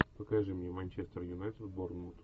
покажи мне манчестер юнайтед борнмут